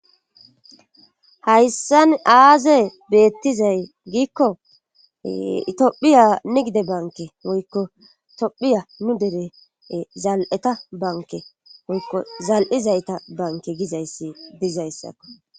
hayssan aaze beettizay giikko itiophiyanne gide banke woykko tophiya nu dere zal7eta banke woykko zal7izayta banke gizayssi dizayssakko